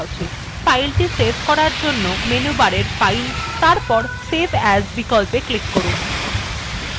file save করার জন্য menu bar fileএর উপর এবং তারপর save as বিকল্পে click করুন